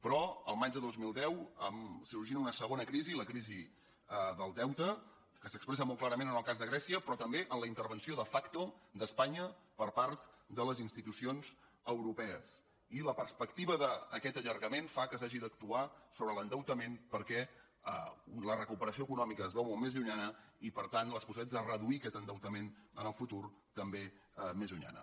però el maig del dos mil deu sorgint una segona crisi la crisi del deute que s’expressa molt clarament en el cas de grècia però també en la intervenció de factonya per part de les institucions europees i la perspectiva d’aquest allargament fa que s’hagi d’actuar sobre l’endeutament perquè la recuperació econòmica es veu molt més llunyana i per tant les possibilitats de reduir aquest endeutament en el futur també més llunyana